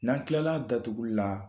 N'an tilal'a datuguli la